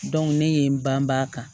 ne ye n banbaa kan